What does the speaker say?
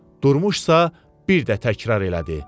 Durmuşsa bir də təkrar elədi.